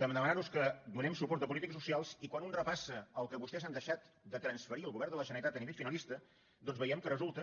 demanar nos que donem suport a polítiques socials i quan un repassa el que vostès han deixat de transferir al govern de la generalitat a nivell finalista doncs veiem que resulta